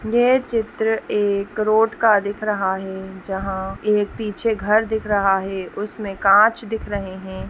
ये चित्र एक रोड का दिख रहा है जहाँ एक पीछे घर दिख रहा है उसमें कांच दिख रहे हैं।